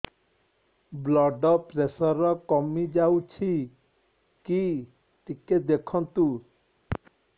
blood pressure କମି ଯାଉଛି କି ଟିକେ ଦେଖନ୍ତୁ